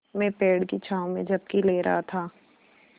मैं पेड़ की छाँव में झपकी ले रहा था